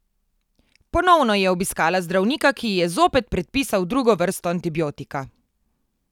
Ponovno je obiskala zdravnika, ki ji je zopet predpisal drugo vrsto antibiotika.